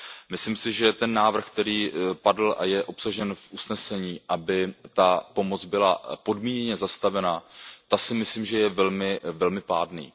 Myslím si, že ten návrh, který padl a je obsažen v usnesení, aby ta pomoc byla podmíněně zastavena, ten si myslím, že je velmi, velmi pádný.